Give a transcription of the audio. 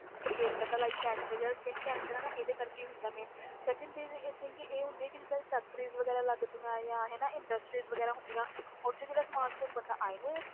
Create ਕਰਦਾ like cancer ਜਾਂ skin cancer ਇਹਦੇ ਕਰਕੇ ਹੀ ਹੁੰਦਾ main second ਚੀਜ਼ i think ਕਿ ਇਹ ਹੁੰਦੀ ਆ ਕਿ ਜਿੱਦਾਂ factories ਵਗ਼ੈਰਾ ਲੱਗਦੀਆਂ ਆਂ ਹਨਾ industries ਵਗ਼ੈਰਾ ਹੁੰਦੀਆਂ ਉਹ 'ਚ ਜਿਹੜਾ ਸਮਾਨ ਸਮੂਨ ਬਣਦਾ i know ਇਹ